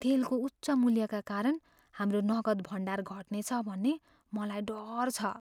तेलको उच्च मूल्यका कारण हाम्रो नगद भण्डार घट्नेछ भन्ने मलाई डर छ।